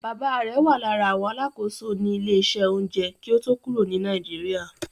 Bàbáa rẹ̀ wà lára àwọn alákòóso ní ilé-iṣẹ́ oúnjẹ kí ó tó kúrò ní Nàìjíríà.